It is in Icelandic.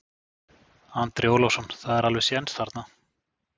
Andri Ólafsson: Það er alveg séns þarna?